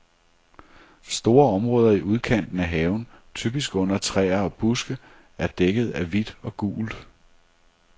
Store områder i udkanten af haven, typisk under træer og buske, er dækket af hvidt og gult.